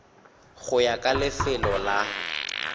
go ya ka lefelo la